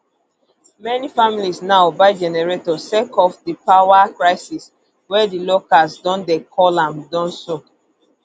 many families now buy generator sake of di power crisis wey di locals don dey call am dumsor